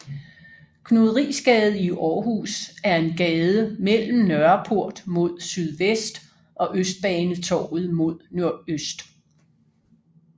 Knudrisgade i Aarhus er en gade mellem Nørreport mod sydvest og Østbanetorvet mod nordøst